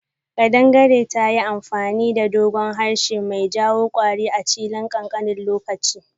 Kadangare tayi amfani da doguwan harshe mai jawo kwari a chilin kankanin lokaci.